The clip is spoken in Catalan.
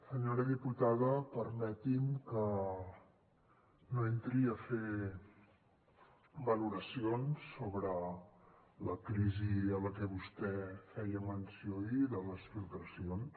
senyora diputada permeti’m que no entri a fer valoracions sobre la crisi a la que vostè feia menció ahir de les filtracions